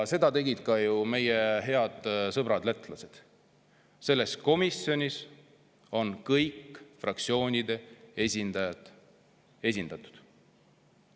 Seda tegid ju ka meie head sõbrad lätlased, selles komisjonis on kõikide fraktsioonide esindajad esindatud.